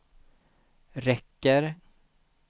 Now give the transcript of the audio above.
räcker